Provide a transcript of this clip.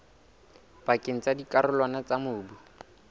pakeng tsa dikarolwana tsa mobu